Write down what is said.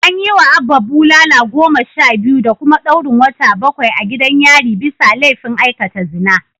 An yiwa Abba bulala goma sha biyu da kuma daurin wata bakwai a gidan yari bisa laifin aikata zina